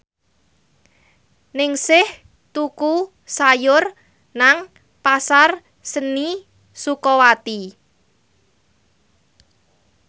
Ningsih tuku sayur nang Pasar Seni Sukawati